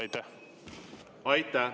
Aitäh!